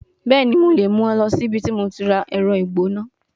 Bẹẹni, Mo le mu ọ lọ si ibiti mo ti ra ẹrọ igbona